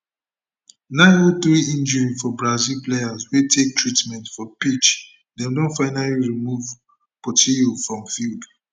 903 injury for brazil player wey take treatment for pitch dem don finally remove portilho from field